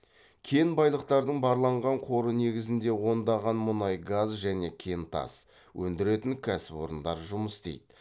кен байлықтардың барланған қоры негізінде ондаған мұнай газ және кентас өндіретін кәсіпорындар жұмыс істейді